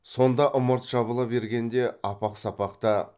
сонда ымырт жабыла бергенде апақ сапақта